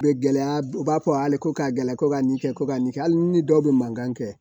U bɛ gɛlɛya u b'a fɔ hali ko ka gɛlɛya ko ka nin kɛ ko ka nin kɛ hali ni dɔw bɛ mankan kɛ